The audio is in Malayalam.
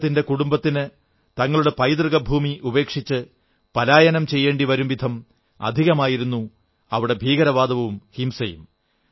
അദ്ദേഹത്തിന്റെ കുടുംബത്തിന് തങ്ങളുടെ പൈതൃക ഭൂമി ഉപേക്ഷിച്ച് പലായനം ചെയ്യേണ്ടി വരുംവിധം അധികമായിരുന്നു അവിടെ ഭീകരവാദവും ഹിംസയും